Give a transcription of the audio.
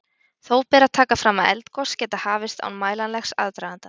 Þó ber að taka fram að eldgos geta hafist án mælanlegs aðdraganda.